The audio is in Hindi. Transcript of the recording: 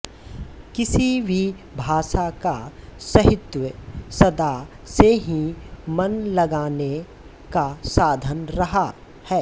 किसी भी भाषा का साहित्य सदा से ही मन लगाने का साधन रहा है